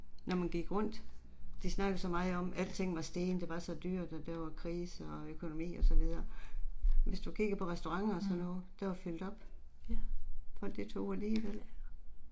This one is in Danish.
Når man gik rundt, de snakkede så meget om alting var steget det var så dyrt, og der var krise og økonomi og så videre. Hvis du kigger på restuaranter og sådan noget. Der var fyldt op. Folk de tog ud alligevel